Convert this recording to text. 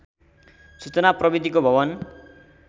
सूचना प्रविधिको भवन